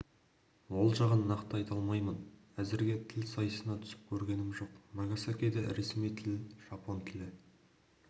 ол жағын нақты айта алмаймын әзірге тіл сайысына түсіп көргенім жоқ нагасакиде ресми тіл жапон тілі